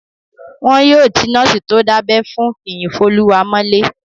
Wọn yóò ti nọ́ọ̀sì tó dábẹ́ fún Fiyinfoluwa mọ́lé